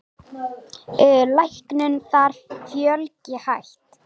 Læknum þar fjölgi hægt.